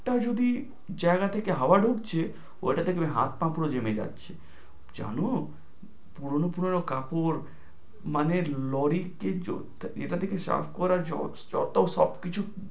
আর যদি জায়গা থেকে হাওয়া ঢুকছে, ওটাতে একেবারে হাত পা পুরো জেমে যাচ্ছে, জানো পুরনো পুরনো কাপড় মানে lorry কিন্তু এটাতে থেকে পড় জল তো